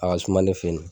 A ka suma ne fe yen